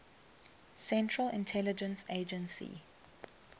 central intelligence agency